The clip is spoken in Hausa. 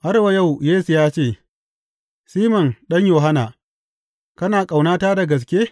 Har wa yau Yesu ya ce, Siman ɗan Yohanna, kana ƙaunata da gaske?